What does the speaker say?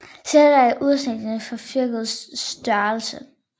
Sirdal er i udstrækning fylkets største